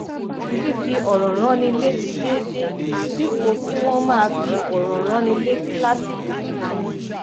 fífi òrò ránni létí déédéé dípò kí wọn máa fi òrò ránni létí lásìkò kúkúrú